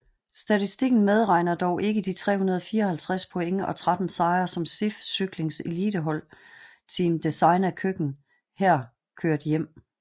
Statistiken medregner dog ikke de 354 point og 13 sejre som SIF Cyklings elitehold Team Designa Køkken her kørt hjem